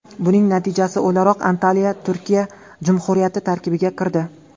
Buning natijasi o‘laroq Antaliya Turkiya Jumhuriyati tarkibiga kirdi.